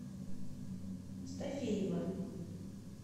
стафеева